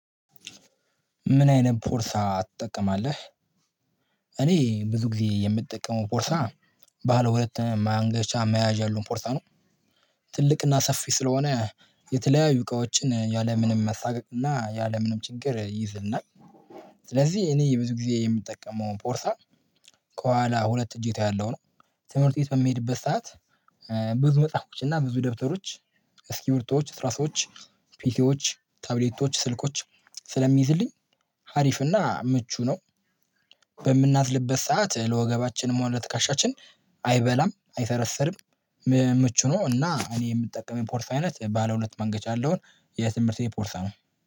ምን አይነት ፖርሳ ትጠቀማለህ? እኔ ብዙ ጊዜ የምጠቀመው ፖርሳ ባለ ሁለት ማንገቻ መያዣ ያለዉን ፖርሳ ነው። ትልቅና ሰፊ ስለሆነ የተለያዩ እቃዎችን ያለምንም መሳቀቅ እና ያለምንም ችግር ይይዝልናል። ስለዚህ እኔ የብዙ ጊዜ የምጠቀመው ፖርሳ ከኋላ ሁለት እጀታ ያለው ነው። ትምህርት ቤት በሚሄድበት ሰዓት ብዙ መጽሐፍቶች እና ብዙ ደብተሮች እስኪ ብርቶች እስራሶች ፒሲዎች ታብሌቶች ስልኮች ስለሚይዝልኝ ሀሪፍና ምቹ ነው። በምናዝልበት ሰዓት ለወገባችን ሆነ ለትካሻችን አይበላም አይሰረሰርም። ምቹ ነው እና እኔ የምጠቀመው ፖርሳ አይነት ባለ ሁለት ማንገቻ ያለውን የትምህርት ፖርሳ ነው